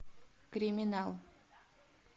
криминал